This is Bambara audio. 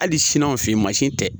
Hali sini anw fɛ ye mansi tɛ.